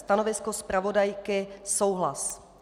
Stanovisko zpravodajky souhlas.